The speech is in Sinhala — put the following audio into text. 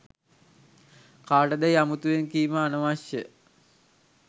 කාටදැයි අමුතුවෙන් කීම අනවශ්‍යය.